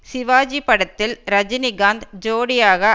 சிவாஜி படத்தில் ரஜினிகாந்த் ஜோடியாக